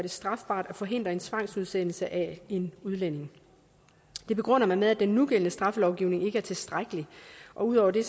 det strafbart at forhindre en tvangsudsendelse af en udlænding det begrunder man med at den nugældende straffelovgivning ikke er tilstrækkelig ud over det